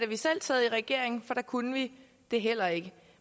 vi selv sad i regering for da kunne vi det heller ikke